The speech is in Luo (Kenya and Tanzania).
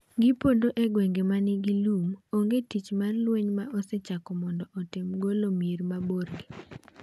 Gipondo e gwenge ma nigi lum Onge tich mar lweny ma osechako mondo otem golo mier maborgi.